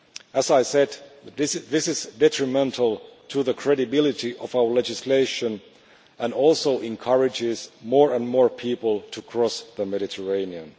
As I said, this is detrimental to the credibility of our legislation and encourages more and more people to cross the Mediterranean.